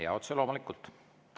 Jaa, otse loomulikult.